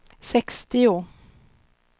sextio